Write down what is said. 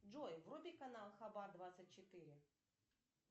джой вруби канал хабар двадцать четыре